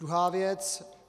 Druhá věc.